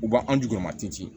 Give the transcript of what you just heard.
U b'an duguma tin